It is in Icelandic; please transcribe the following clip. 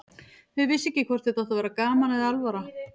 Þau vissu ekki hvort þetta átti að vera gaman eða alvara.